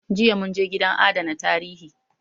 Jiya mun je gidan adana tarihi